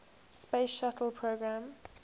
space shuttle program